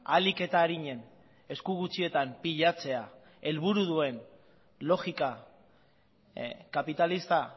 ahalik eta arinen esku gutxietan pilatzea helburu duen logika kapitalista